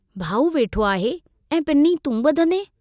भाऊ वेठो आहे, ऐं पिनी तूं ब॒धंदे।